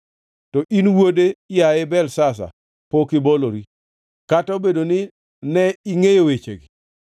“To in wuode, yaye Belshazar, pok ibolori, kata obedo ni ne ingʼeyo wechegi duto.